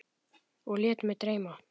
Og lét mig dreyma.